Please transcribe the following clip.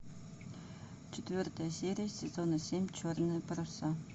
четвертая серия сезона семь черные паруса